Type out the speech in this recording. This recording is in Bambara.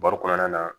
Baro kɔnɔna na